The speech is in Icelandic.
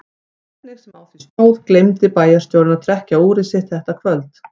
Hvernig sem á því stóð gleymdi bæjarstjórinn að trekkja úrið sitt þetta kvöld.